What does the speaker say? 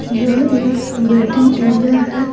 यह एक waiting area है।